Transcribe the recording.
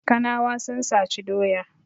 Kanawa sun saci doya.